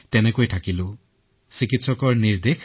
তেওঁলোকে ড়ি কৈছিল সেয়া আমি পালন কৰিছিলো